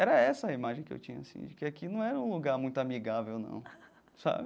Era essa a imagem que eu tinha assim, de que aqui não era um lugar muito amigável, não sabe.